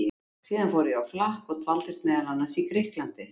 Síðan fór ég á flakk og dvaldist meðal annars í Grikklandi.